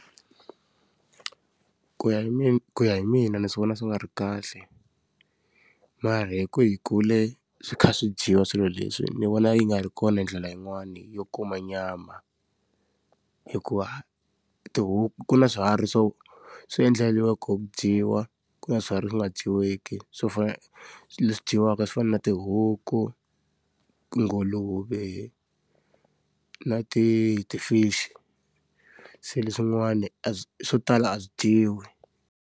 Ku ya hi mi ku ya hi mina ni vona swi nga ri kahle. Mara hi ku hi kule swi kha swi dyiwa swilo leswi ni vona yi nga ri kona hi ndlela yin'wani yo kuma nyama. Hikuva tihuku ku na swiharhi swo swi endleriweke koho hi ku dyiwa, ku na swiharhi swi nga dyiweki swo fana leswi dyiwaka swo fana na tihuku, tinguluve, na ti ti-fish-i. Se leswin'wani swo tala a swi dyiwi.